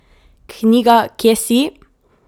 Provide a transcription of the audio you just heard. Knjiga Kje si?